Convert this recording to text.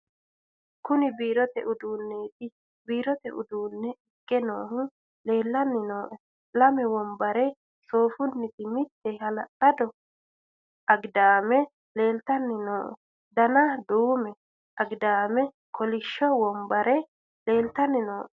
kuni biirote uduunneeti biirote uduunne ikke noohu leellanni nooe lame wombare soofunniti mitte hala'lado agidaame leeltanni nooe dana duume agidaame kolishsho wombare leeltanni nooe